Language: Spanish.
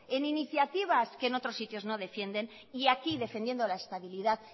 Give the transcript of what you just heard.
en iniciativas que en otros sitios no defienden y aquí defendiendo la estabilidad